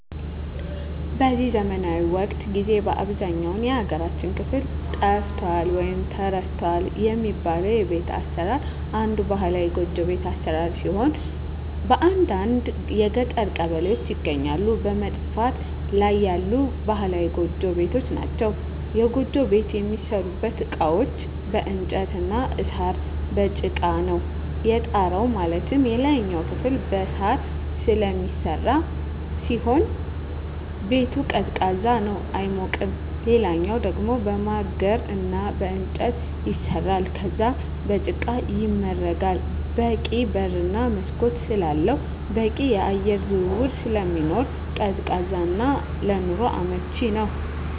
በዚህ ዘመናዊ ወቅት ጊዜ በአብዛኛው የሀገራችን ክፍል ጠፍቷል ወይም ተረስቷል የሚባለው የቤት አሰራር አንዱ ባህላዊ ጎጆ ቤት አሰራር ሲሆን በአንዳንድ የገጠር ቀበሌዎች ይገኛሉ በመጥፋት ላይ ያሉ ባህላዊ ጎጆ ቤቶች ናቸዉ። የጎጆ ቤት የሚሠሩበት እቃዎች በእንጨት እና በሳር፣ በጭቃ ነው። የጣራው ማለትም የላይኛው ክፍል በሳር ስለሚሰራ ሲሆን ቤቱ ቀዝቃዛ ነው አይሞቅም ሌላኛው ደሞ በማገር እና በእንጨት ይሰራል ከዛም በጭቃ ይመረጋል በቂ በር እና መስኮት ስላለው በቂ የአየር ዝውውር ስለሚኖር ቀዝቃዛ እና ለኑሮ አመቺ ነው።